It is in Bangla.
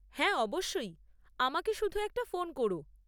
হ্যাঁ অবশ্যই! আমাকে শুধু একটা ফোন কোরো।